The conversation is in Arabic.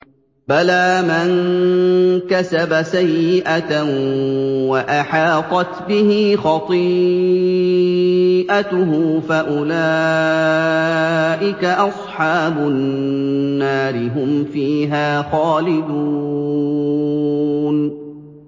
بَلَىٰ مَن كَسَبَ سَيِّئَةً وَأَحَاطَتْ بِهِ خَطِيئَتُهُ فَأُولَٰئِكَ أَصْحَابُ النَّارِ ۖ هُمْ فِيهَا خَالِدُونَ